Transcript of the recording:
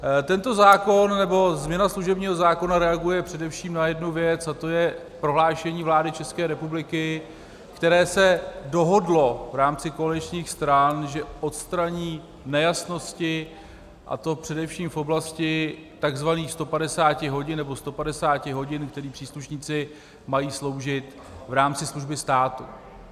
Tento zákon, nebo změna služebního zákona, reaguje především na jednu věc a tou je prohlášení vlády České republiky, které se dohodlo v rámci koaličních stran, že odstraní nejasnosti, a to především v oblasti takzvaných 150 hodin, nebo 150 hodin, které příslušníci mají sloužit v rámci služby státu.